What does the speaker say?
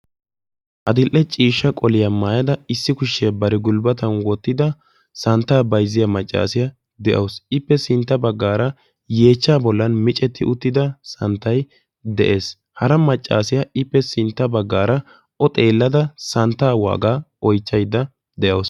Adl'ee ciishsha qoliya maayadda qolliya santta bayzziya macassiya beettawussu. Issi maccassiya santta gatiya oychchawussu.